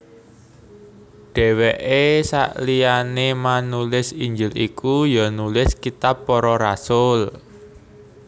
Dhèwèke saliyané manulis Injil iku ya nulis kitab Para Rasul